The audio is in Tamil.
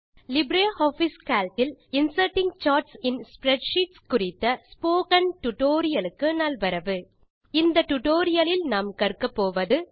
லிப்ரியாஃபிஸ் கால்க் இல் Inserting சார்ட்ஸ் இன் ஸ்ப்ரெட்ஷீட்ஸ் குறித்த ஸ்போக்கன் டியூட்டோரியல் க்கு நல்வரவு இந்த டியூட்டோரியல் லில் நாம் கற்பது